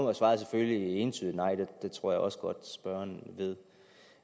er svaret selvfølgelig et entydigt nej det tror jeg også godt at spørgeren ved